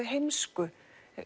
heimsku